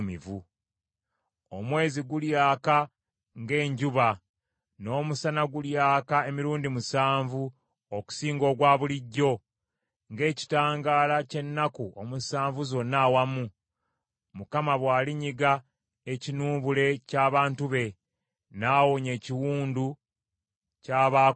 Omwezi gulyaka ng’enjuba, n’omusana gulyaka emirundi musanvu okusinga ogwa bulijjo, ng’ekitangaala ky’ennaku omusanvu zonna awamu, Mukama bw’alinyiga ekinuubule ky’abantu be, n’awonya ekiwundu ky’abaakosebwa.